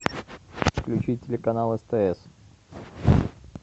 включить телеканал стс